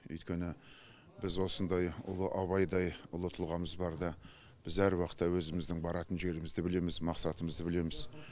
өйткені біз осындай ұлы абайдай ұлы тұлғамыз барда біз әруақытта өзіміздің баратын жерімізді білеміз мақсатымызды білеміз